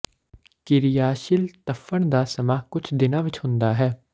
ਕਿਰਿਆਸ਼ੀਲ ਧੱਫ਼ੜ ਦਾ ਸਮਾਂ ਕੁਝ ਦਿਨਾਂ ਵਿੱਚ ਹੁੰਦਾ ਹੈ